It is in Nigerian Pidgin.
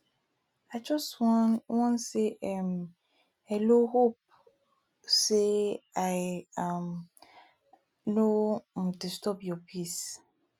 i just wan wan say um hello hope say i um no um disturb your peace